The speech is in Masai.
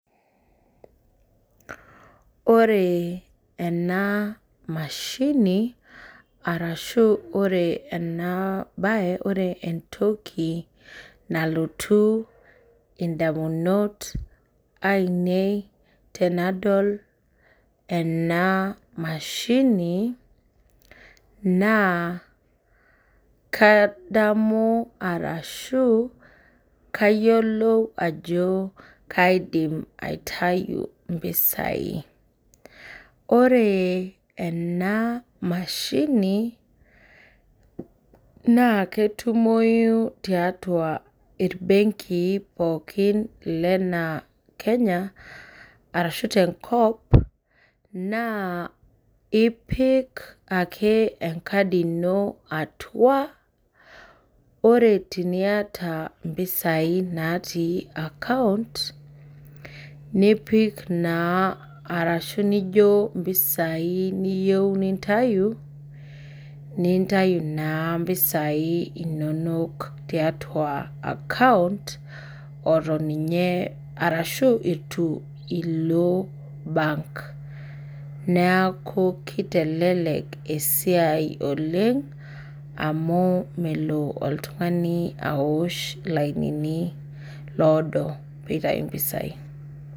Ore enamashini arashu ore entoki nalotu ndamunot ainei tanadol enamashini nakadamu arashu kayiolou ajo kaidim aitau mpisai ore ena mashini naketumoi tiatua mbenki mpooki ena kenya na ipik ake enkadi ino atua ore piata mpisai natui account nipik ashu nijo mpisai niyieu nintau nintau na mpisai inonok tiatua account arashu embenki neaku kitelelek esiai oleng amu Melo oltungani aosh lainini odo pitau mpisai.